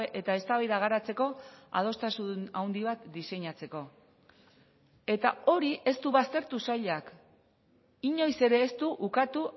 eta eztabaida garatzeko adostasun handi bat diseinatzeko eta hori ez du baztertu sailak inoiz ere ez du ukatu